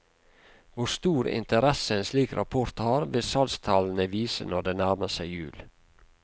Hvor stor interesse en slik rapport har, vil salgstallene vise når det nærmer seg jul.